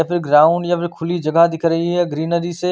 या फिर ग्राउंड या फिर खुली जगह दिख रही है ग्रीनरी से--